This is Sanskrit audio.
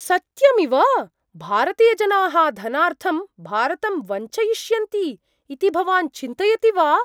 सत्यमिव? भारतीयजनाः धनार्थं भारतं वञ्चयिष्यन्ति इति भवान् चिन्तयति वा?